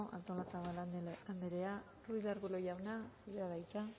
artolazabal anderea ruiz de arbulo jauna zurea da hitza